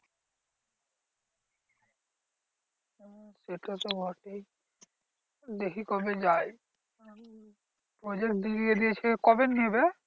সেটা তো বটেই দেখি কবে যাই? project দিয়ে দিয়েছে। কবে নেবে?